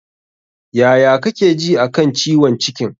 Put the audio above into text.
Yaya kake ji a kan ciwon cikin?